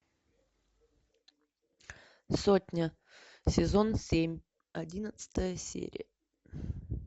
сотня сезон семь одиннадцатая серия